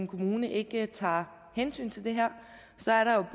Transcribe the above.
kommunen ikke tager hensyn til det her så er der